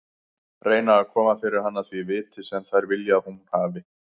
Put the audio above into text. Reyna að koma fyrir hana því viti sem þær vilja að hún hafi.